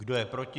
Kdo je proti?